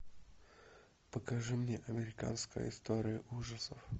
покажи мне американская история ужасов